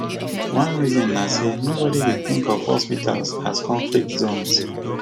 one reason na say nobody dey think of hospitals as conflict zones